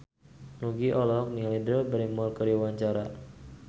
Nugie olohok ningali Drew Barrymore keur diwawancara